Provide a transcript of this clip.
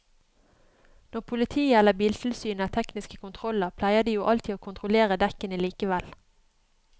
Når politiet eller biltilsynet har tekniske kontroller pleier de jo alltid å kontrollere dekkene likevel.